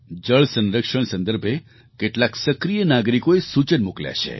જળ સંરક્ષણ સંદર્ભે કેટલાક સક્રિય નાગરિકોએ સૂચન મોકલ્યાં છે